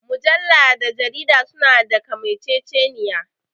Mujalla da jarida su na da kamanceceniya